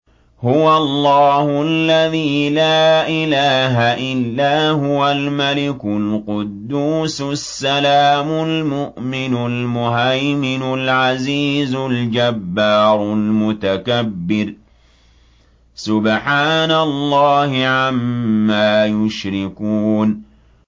هُوَ اللَّهُ الَّذِي لَا إِلَٰهَ إِلَّا هُوَ الْمَلِكُ الْقُدُّوسُ السَّلَامُ الْمُؤْمِنُ الْمُهَيْمِنُ الْعَزِيزُ الْجَبَّارُ الْمُتَكَبِّرُ ۚ سُبْحَانَ اللَّهِ عَمَّا يُشْرِكُونَ